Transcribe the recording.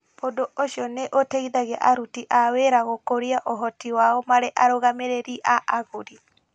Ũndũ ũcio nĩ ũteithagia aruti a wĩra gũkũria ũhoti wao marĩ arũgamĩrĩri a agũri.